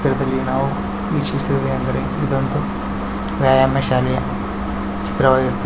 ಚಿತ್ರದಲ್ಲಿ ನಾವು ವೀಕ್ಷಿಸುವುದೇನೆಂದರೆ ಎಂದರೆ ಇದೊಂದು ವ್ಯಾಯಾಮ ಶಾಲೆಯ ಚಿತ್ರವಾಗಿರುತ್ತದೆ. ಇದರ--